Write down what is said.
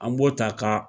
An b'o ta ka